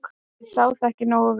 ég sá það ekki nógu vel.